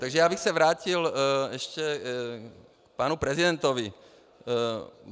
Takže já bych se vrátil ještě k panu prezidentovi.